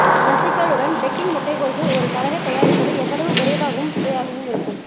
ரஸிக்கலுடன் பெக்கிங் முட்டைக்கோசு ஒரு கலவை தயாரிப்பது எவ்வளவு விரைவாகவும் சுவையாகவும் இருக்கும்